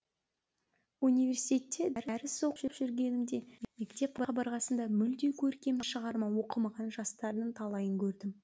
университетте дәріс оқып жүргенімде мектеп қабырғасында мүлде көркем шығарма оқымаған жастардың талайын көрдім